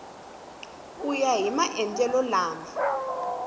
ku ya hi maendlelo lama